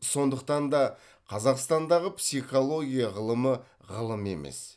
сондықтан да қазақстандағы психология ғылымы ғылым емес